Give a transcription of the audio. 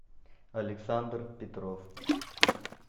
александр петров